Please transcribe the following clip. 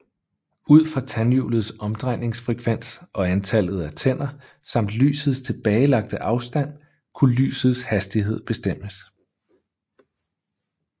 Ud fra tandhjulets omdrejningsfrekvens og antallet af tænder samt lysets tilbagelagte afstand kunne lysets hastighed bestemmes